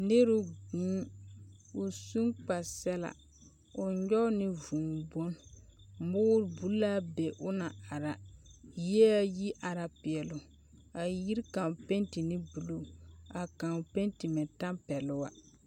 Nero guun. O sũ kpar-sɛlaa. Nyɔg ne vũũ bone. Moor bul la be o na ara. Yie ayi ara peɛloo. A yiri kaŋ penti ne buluu, a kan penti ne tampɛlo a.